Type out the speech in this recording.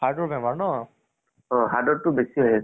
খৰু পোৱালীকে তো ভয় খোৱাব কাৰণে, এনেকুৱায়ে কৰে মানে আমাৰ।